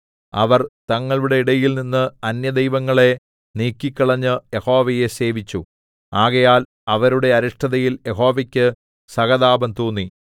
അവർ തങ്ങളുടെ ഇടയിൽനിന്ന് അന്യദൈവങ്ങളെ നീക്കിക്കളഞ്ഞ് യഹോവയെ സേവിച്ചു ആകയാൽ അവരുടെ അരിഷ്ടതയിൽ യഹോവക്ക് സഹതാപം തോന്നി